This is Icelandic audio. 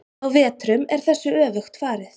Á vetrum er þessu öfugt farið.